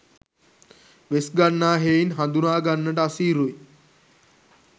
වෙස්ගන්නා හෙයින් හඳුනාගන්නට අසීරුයි.